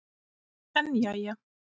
En jæja.